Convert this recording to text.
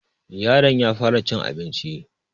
yaron ya fara cin abinci